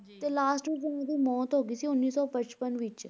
ਤੇ last ਵਿੱਚ ਉਹਨਾਂ ਦੀ ਮੌਤ ਹੋ ਗਈ ਸੀ ਉੱਨੀ ਸੌ ਪਚਪਨ ਵਿੱਚ